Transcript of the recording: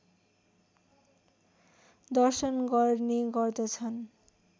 दर्शन गर्ने गर्दछन्